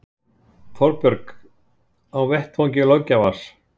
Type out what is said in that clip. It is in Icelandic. Þorbjörn: Á vettvangi löggjafans?